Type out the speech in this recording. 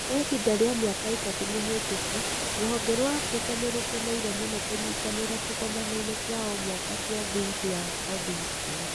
Kwa ihinda rĩa mĩaka ĩtatũ mĩhĩtũku, rũhonge rwa Africa nĩ rũkeneire mũno kũnyitanĩra kĩgomano-inĩ kĩa o mwaka kĩa Think Young Coding School.